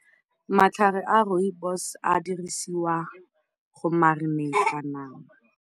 Matlhare a rooibos a dirisiwa go marineita nama.